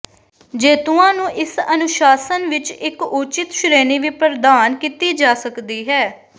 ਜੇਤੂਆਂ ਨੂੰ ਇਸ ਅਨੁਸ਼ਾਸਨ ਵਿਚ ਇਕ ਉਚਿਤ ਸ਼੍ਰੇਣੀ ਵੀ ਪ੍ਰਦਾਨ ਕੀਤੀ ਜਾ ਸਕਦੀ ਹੈ